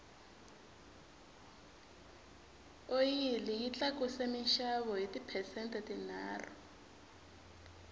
oyili yi tlakuse minxavo hi ti phesente tinharhu